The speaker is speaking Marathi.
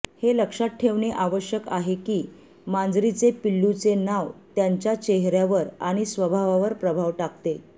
हे लक्षात ठेवणे आवश्यक आहे की मांजरीचे पिल्लूचे नाव त्यांच्या चेहऱ्यावर आणि स्वभावावर प्रभाव टाकते